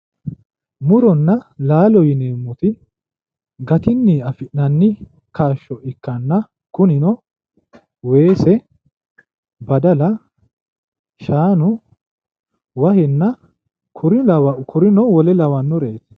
Muronna laalo yineemmoti gatinni afi'nanni kaashsho ikkanna kunino weese, badala, shaanu wahenna kurinna wole lawannoreeti